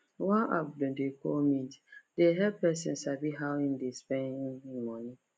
one app dem dey call mint dey help person sabi how him dey spend him money